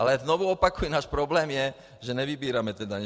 Ale znovu opakuji, náš problém je, že nevybíráme ty daně.